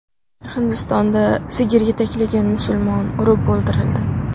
Hindistonda sigir yetaklagan musulmon urib o‘ldirildi.